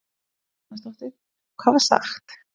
Karen Kjartansdóttir: Hvað var sagt?